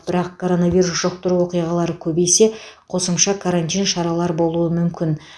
бірақ коронавирус жұқтыру оқиғалары көбейсе қосымша карантин шаралар болуы мүмкін